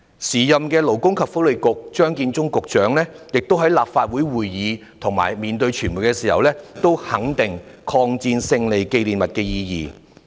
時任勞工及福利局局長張建宗在立法會會議及面對傳媒時，亦肯定了抗日戰爭勝利紀念日的意義。